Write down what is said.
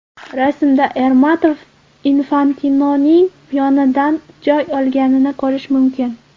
Rasmda Ermatov Infantinoning yonidan joy olganini ko‘rish mumkin.